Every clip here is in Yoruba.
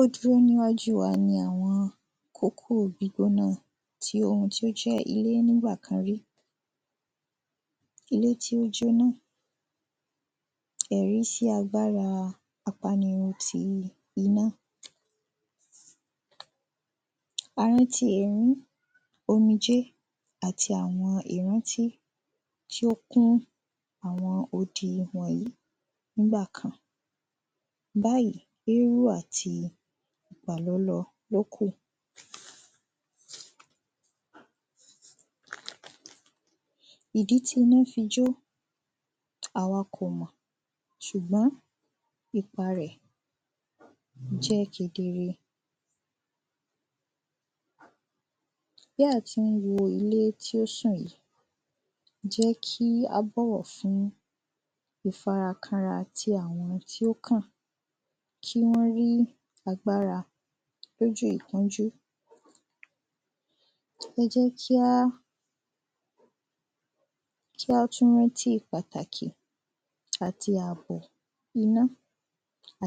ó dúró ní iwájú wa ni àwọn tí oun tí ó jẹ ilé ní ìgbà kan rí ilé tí ó jóná ẹ̀rí sí agbára apanirun ti ina omijé àti àwọn ìrántí tí ó kún àwọn odi wọ̀nyí nígbà kan báàyí, éɹú àti ìgbàlólọ ló ku ìdí tí iná fi jó à wa kò mọ̀, sùgbọ́n ipa rẹ̀ jẹ́ kedere bí à tí n wo ilé tí ó ṣàn yí jẹ́ kí á bọ̀wọ̀ fún ìfarakánra tí àwọn tí ó kàn kí wọ́n rí agbára lójú ìpọ́njú ẹ jẹ kí á ẹ jẹ kí á tún rántí pàtàki àti àbò iná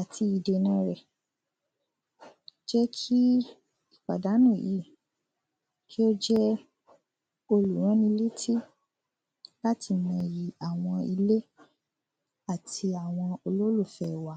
àti ìdèna rẹ̀ jẹ́ kí ìpàdánù yí kí ó jẹ́ olùrán ni létí láti mọ iyì àwọn ilé àti àwọn olólùfẹ́ wa